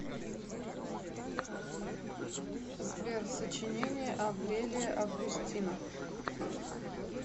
сбер сочинение аврелия августина